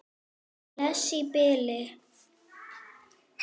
Bless í bili!